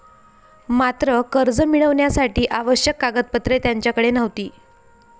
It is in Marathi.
मात्र कर्ज मिळविण्यासाठी आवश्यक कागदपत्रे त्यांच्याकडे नव्हती.